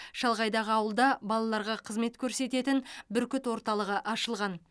шалғайдағы ауылда балаларға қызмет көрсететін бүркіт орталығы ашылған